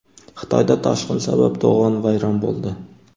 Xitoyda toshqin sabab to‘g‘on vayron bo‘ldi.